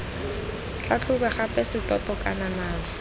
tlhatlhobe gape setoto kana nama